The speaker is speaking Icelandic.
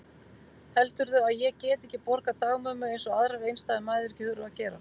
Heldurðu að ég geti ekki borgað dagmömmu eins og aðrar einstæðar mæður þurfa að gera?